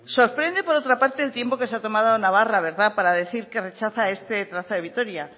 sorprende por otra parte el tiempo que se ha tomado navarra para decir que rechaza este trazado de vitoria